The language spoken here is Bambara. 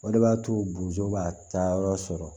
O de b'a to bozo b'a ta yɔrɔ sɔrɔ